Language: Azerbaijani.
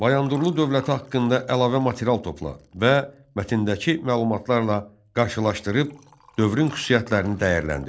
Bayandurlu dövləti haqqında əlavə material topla və mətndəki məlumatlarla qarşılaşdırıb dövrün xüsusiyyətlərini dəyərləndir.